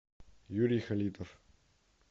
юрий халитов